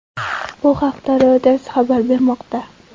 Bu haqda Reuters xabar bermoqda .